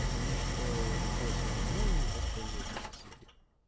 потому что любой слабиной и воспользуются соседи